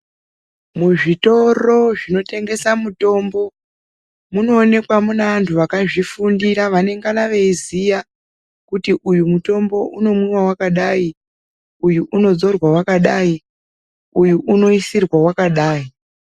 Muzvitoro zvinotengese mitombo munoonekwa munevantu vakazvifundira vanenge veiziya kuti uyo mutombo unomwiwa wakadayi uyu unodzorwa wakadayi uyu unoisirwa wakadayi.